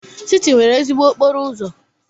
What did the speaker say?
Siti nwere ezigbo okporo ụzọ.